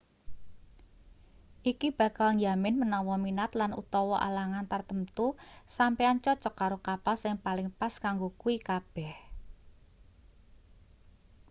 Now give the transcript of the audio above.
iki bakal njamin menawa minat lan/utawa alangan tartamtu sampeyan cocok karo kapal sing paling pas kanggo kuwi kabeh